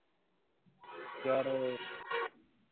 ਯਾਰ